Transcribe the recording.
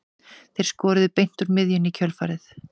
Þeir skoruðu beint úr miðjunni í kjölfarið.